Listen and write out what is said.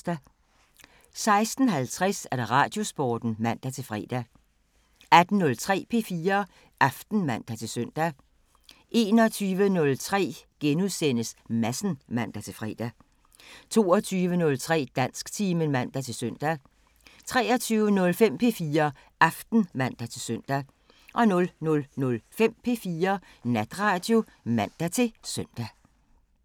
16:50: Radiosporten (man-fre) 18:03: P4 Aften (man-søn) 21:03: Madsen *(man-fre) 22:03: Dansktimen (man-søn) 23:05: P4 Aften (man-søn) 00:05: P4 Natradio (man-søn)